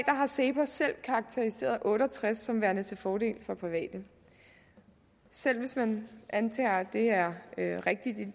har cepos selv karakteriseret otte og tres som værende til fordel for private selv hvis man antager at det er en rigtigt